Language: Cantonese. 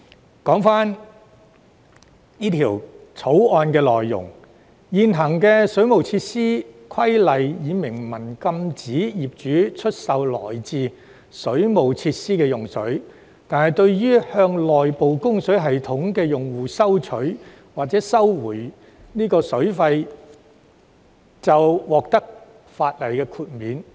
回頭談談《條例草案》的內容。現行《水務設施規例》已明文禁止業主出售來自水務設施的用水，但向內部供水系統的用戶收取或收回水費，則可在法例下獲得豁免。